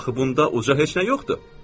Axı bunda uca heç nə yoxdur.